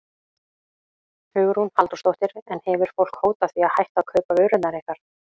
Hugrún Halldórsdóttir: En hefur fólk hótað því að hætta að kaupa vörurnar ykkar?